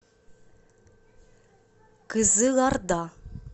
кызылорда